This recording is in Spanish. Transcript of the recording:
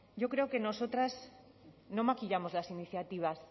yo creo que nosotras no maquillamos las iniciativas